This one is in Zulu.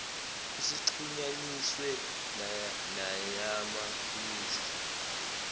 isixhunyaniswe neyama mixed